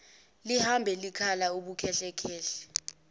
lihamba likhala ubukhehlekhehle